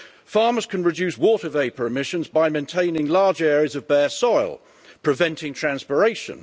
Farmers can reduce water vapour emissions by maintaining large areas of bare soil, preventing transpiration.